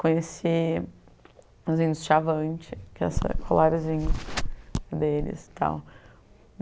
Conheci os índios xavantes, que é essa colarizinho deles e tal.